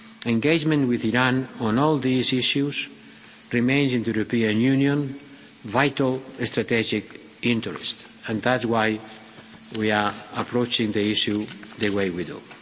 Engagement with Iran on all these issues remains in the European Union's vital and strategic interest and that's why we are approaching the issue the way we do.